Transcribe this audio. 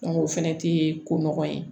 o fɛnɛ tɛ ko nɔgɔ ye